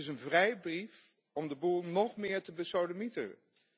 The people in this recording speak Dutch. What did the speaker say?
Dit is een vrijbrief om de boel nog meer te besodemieteren.